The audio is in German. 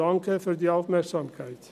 Danke für die Aufmerksamkeit.